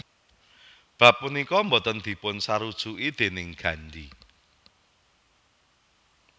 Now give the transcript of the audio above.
Bab punika boten dipun sarujuki déning Gandhi